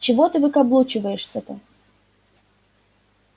че ты выкаблучиваешься-то